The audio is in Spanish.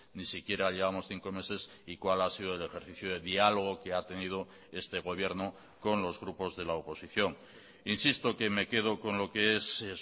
ni siquiera llevamos cinco meses y cuál ha sido el ejercicio de diálogo que ha tenido este gobierno con los grupos de la oposición insisto que me quedo con lo que es